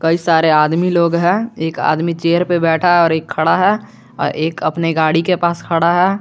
ये सारे आदमी लोग हैं एक आदमी चेयर पर बैठा है और एक खड़ा है और एक अपनी गाड़ी के पास खड़ा है।